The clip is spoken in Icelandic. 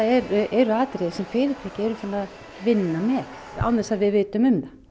eru atriði sem fyrirtæki eru farin að vinna með án þess að við vitum um það